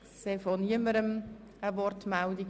– Das ist auch nicht der Fall.